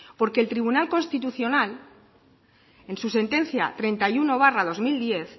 porque el tribunal constitucional en su sentencia treinta y uno barra dos mil diez